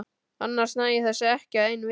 Annars næ ég þessu ekki á einni viku.